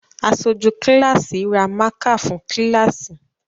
Aṣojú kíláàsì ra mákà fún kíláàsì